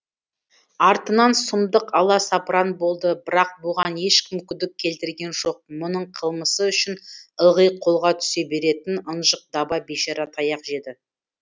артынан сұмдық аласапыран болды бірақ бұған ешкім күдік келтірген жоқ мұның қылмысы үшін ылғи қолға түсе беретін ынжық даба бейшара таяқ жеді